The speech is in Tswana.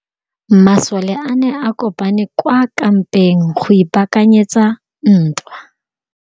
Masole a ne a kopane kwa kampeng go ipaakanyetsa ntwa.